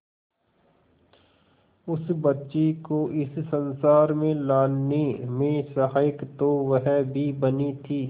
उस बच्ची को इस संसार में लाने में सहायक तो वह भी बनी थी